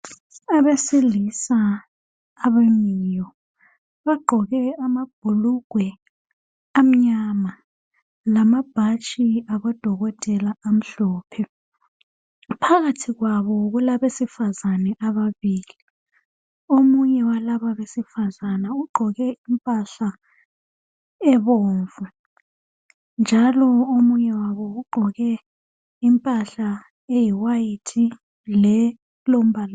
Abesilisa abamiyo bagqoke amabhulukwe amnyama lamabhatshi abo dokotela amhlophe phakathi kwabo kula esifazane ababilile omunye wabesifazane ugqoke impahla ebomvu njalo omunye wabo ugqoke impahla eyiwayithi